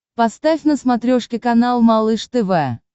поставь на смотрешке канал малыш тв